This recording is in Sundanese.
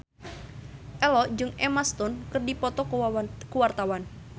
Ello jeung Emma Stone keur dipoto ku wartawan